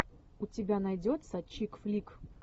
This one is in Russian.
у тебя найдется чик флик